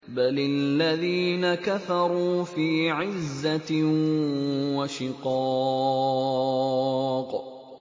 بَلِ الَّذِينَ كَفَرُوا فِي عِزَّةٍ وَشِقَاقٍ